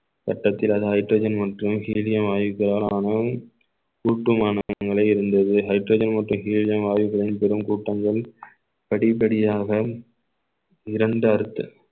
வட்டச் hydrogen மற்றும் iridium வாயு பெறலாம் இருந்தது hydrogen மற்றும் iridium வாயுக்களின் பெரும் கூட்டங்கள் படிப்படியாக இரண்டு அர்த்த~